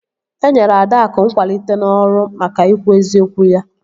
E nyere Adaakụ nkwalite n'ọrụ maka ikwu eziokwu ya